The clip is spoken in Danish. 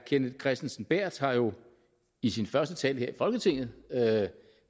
kenneth kristensen berth har jo i sin første tale her i folketinget